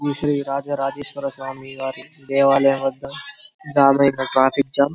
శ్రీ రాజా రాజేశ్వర స్వామి వారి దేవాలయం వద్ద ట్రాఫిక్ జాం --